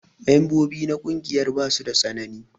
Membobi na ƙungiyar basu da tsanani.